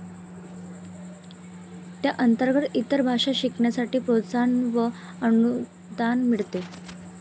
त्या अंतर्गत इतर भाषा शिकण्यासाठी प्रोत्साहन व अनुदान मिळते.